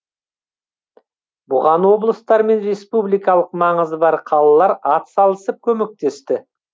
бұған облыстар мен республикалық маңызы бар қалалар атсалысып көмектесті